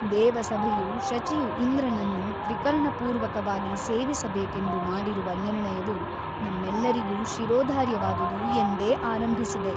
ದೇವಸಭೆಯು ಶಚಿಯು ಇಂದ್ರನನ್ನು ತ್ರಿಕರಣಪೂರ್ವಕವಾಗಿ ಸೇವಿಸಬೇಕೆಂದು ಮಾಡಿರುವ ನಿರ್ಣಯವು ನಮ್ಮೆಲ್ಲರಿಗೂ ಶಿರೋಧಾರ್ಯವಾದುದು ಎಂದೇ ಆರಂಭಿಸಿದೆ.